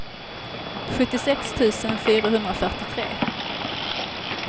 sjuttiosex tusen fyrahundrafyrtiotre